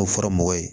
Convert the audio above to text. O fɔra mɔgɔ ye